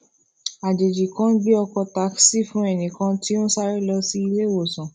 àjèjì kan gbé ọkò takisí fún ẹnì kan tó ń sáré lọ sí ilé ìwòsàn